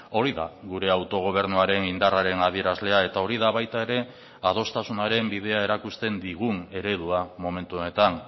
hori da gure autogobernuaren indarraren adierazlea eta hori da baita ere adostasunaren bidea erakusten digun eredua momentu honetan